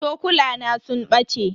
Cokulana sun bace.